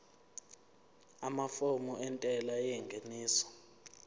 amafomu entela yengeniso